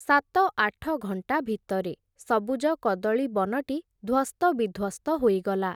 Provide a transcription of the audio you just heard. ସାତ ଆଠ ଘଣ୍ଟା ଭିତରେ, ସବୁଜ କଦଳୀ ବନଟି, ଧ୍ଵସ୍ତବିଧ୍ଵସ୍ତ ହୋଇଗଲା ।